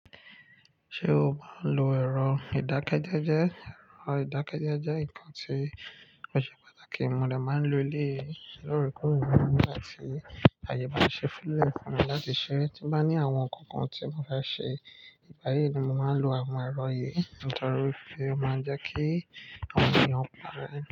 Ṣé o máa ń lo ẹ̀rọ ìdákẹ́jẹ́jẹ́? Ẹ̀rọ ìdákẹ́jẹ́jẹ́ nkan ti o ṣe pàtàkì, mo de máa ń lo lé lóòre kore nígbà tí àyè bá ṣe fílẹ̀ fún mi láti ṣe tí bá ní àwọn nkan kan tí mo fẹ́ ṣe, ìgbà yìí ni mo máa ń lo àwọn ẹ̀rọ yìí nítorí pé ó máa ń jẹ́ kí àwọn èèyàn padà rẹ.